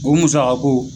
O musakako